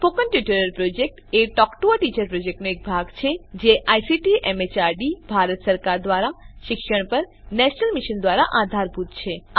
spoken tutorial project a talk to a teacher પ્રોજેક્ટનો એક ભાગ છે જે આઇસીટી એમએચઆરડી ભારત સરકાર દ્વારા શિક્ષણ પર નેશનલ મિશન દ્વારા આધારભૂત છે